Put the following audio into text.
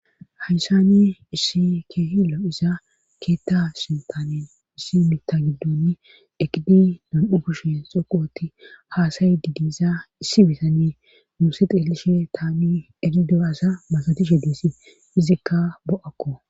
hayssani issi keehi lo7iza keetta sintaani issi mita giddonni eqidi nam7u kushen xoqoti haasayidi diiza issi bitani muuse xeelishe taani erido assa masotishe desi izikka bo7akko